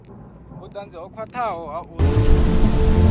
vhutanzi ho khwathaho ha uri